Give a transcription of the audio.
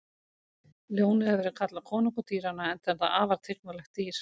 Ljónið hefur verið kallað konungur dýranna enda er það afar tignarlegt dýr.